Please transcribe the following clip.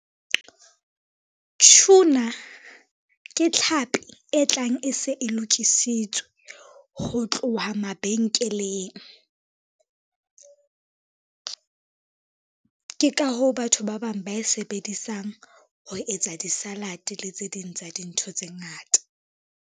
Tuna, ke tlhapi e tlang e se e lokisitswe ho tloha mabenkeleng. Ke ka hoo batho ba bang ba e sebedisang ho etsa di-salad le tse ding tsa dintho tse ngata.